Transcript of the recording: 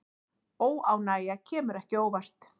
Óánægja kemur ekki á óvart